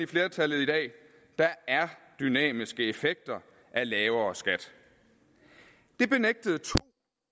flertallet i dag der er dynamiske effekter af lavere skat det benægtede to